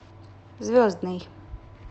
звездный